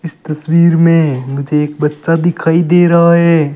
इस तस्वीर में मुझे एक बच्चा दिखाई दे रहा है।